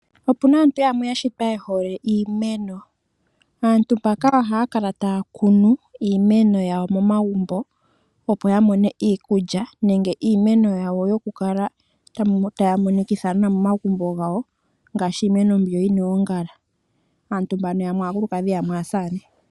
Opuna aantu yamwe ya shitwa yehole iimeno, aantu mbaka ohaya kala taya kunu iimeno yawo momagumbo opo ya mone iikulya nenge iimeno yokukala tayi monikitha nawa momagumbo ngaashi iimeno mbyo yina oongala. Aantu mbano yamwe aakulukadhi yamwe aasamane.